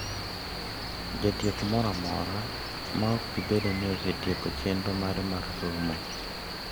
Jatieko moro amora ma ok bi bedo ni osetieko chenro mare mar somo.